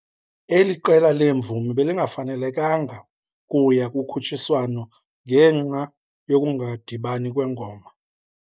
Eli qela leemvumi belingafanelanga kuya kukhutshiswano ngenxa yokungadibani kwengoma.